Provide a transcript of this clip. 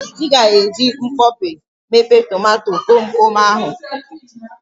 Ị ga-eji mkpọpe mepe tomato komkom ahụ.